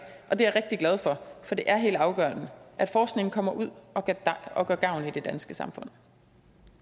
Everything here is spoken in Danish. og det er jeg rigtig glad for for det er helt afgørende at forskningen kommer ud og gør gavn i det danske samfund